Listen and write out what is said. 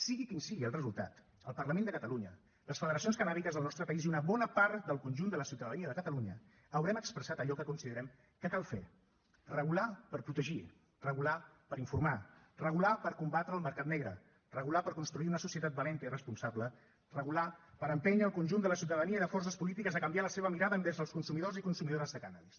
sigui quin sigui el resultat el parlament de catalunya les federacions cannàbiques del nostre país i una bona part del conjunt de la ciutadania de catalunya haurem expressat allò que considerem que cal fer regular per protegir regular per informar regular per combatre el mercat negre regular per construir una societat valenta i responsable regular per empènyer el conjunt de la ciutadania i de forces polítiques a canviar la seva mirada envers els consumidors i consumidores de cànnabis